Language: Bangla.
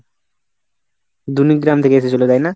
দুনি গ্রাম থেকে এসেছিলো তাই না?